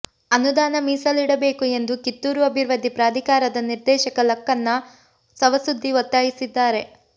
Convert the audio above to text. ಅನುದಾನ ಮೀಸಲಿಡಬೇಕು ಎಂದು ಕಿತ್ತೂರು ಅಭಿವೃದ್ಧಿ ಪ್ರಾಧಿಕಾರದ ನಿರ್ದೇಶಕ ಲಕ್ಕನ್ನ ಸವಸುದ್ದಿ ಒತ್ತಾಯಿಸಿದ್ದಾರೆ